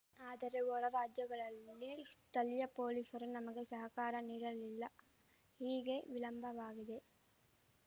ಆದರೆ ಹೊರ ರಾಜ್ಯಗಳಲ್ಲಿ ಸ್ಥಳೀಯ ಪೊಲೀಸರು ನಮಗೆ ಸಹಕಾರ ನೀಡಲಿಲ್ಲ ಹೀಗೇ ವಿಳಂಬವಾಗಿದೆ